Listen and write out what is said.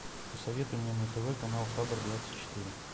посоветуй мне на тв канал хабр двадцать четыре